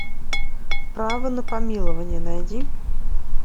право на помилование найди